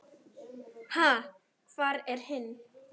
Ha, hvar er hinn?